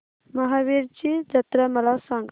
महावीरजी जत्रा मला सांग